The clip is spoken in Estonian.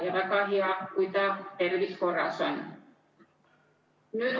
Ja väga hea, kui ta tervis korras on!